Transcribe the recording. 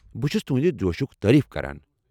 بہٕ چُھس تہنٛدِ جوشُك تعریف کران۔